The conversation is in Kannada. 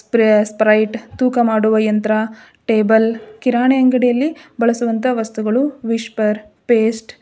ಸ್ಪ್ರೇ ಸ್ಪ್ರೈಟ್ ತೂಕ ಮಾಡುವ ಯಂತ್ರ ಟೇಬಲ್ ಕಿರಾಣಿ ಅಂಗಡಿಯಲ್ಲಿ ಬಳಸುವಂತಹ ವಸ್ತುಗಳು ವಿಸ್ಪರ್ ಪೇಸ್ಟ್ --